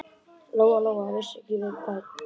Lóa-Lóa vissi ekki við hvern.